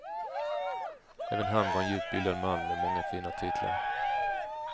Även han var en djupt bildad man med många fina titlar.